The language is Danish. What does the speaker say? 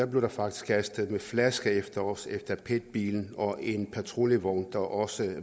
blev der faktisk kastet flasker efter os efter pet bilen og en patruljevogn der også